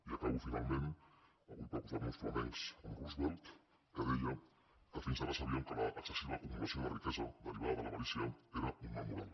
i acabo finalment avui per posar nos flamencs amb roosevelt que deia que fins ara sabíem que l’excessiva acumulació de riquesa derivada de l’avarícia era un mal moral